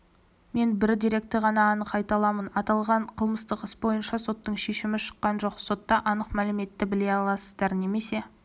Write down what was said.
мен бір деректі ғана анық айта аламын аталған қылмыстық іс бойынша соттың шешімі шыққан жоқ сотта анық мәліметті біле аласыздар немесе